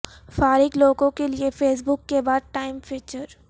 فارغ لوگوں کیلئے فیس بک کے بعد ٹائم فیچر